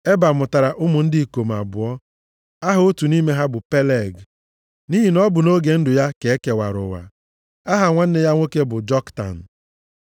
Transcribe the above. Eba mụtara ụmụ ndị ikom abụọ: Aha otu nʼime ha bụ Peleg, nʼihi na ọ bụ nʼoge ndụ ya ka e kewara ụwa. Aha nwanne ya nwoke bụ Joktan.